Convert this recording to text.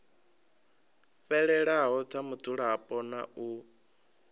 fhelelaho dza mudzulapo na u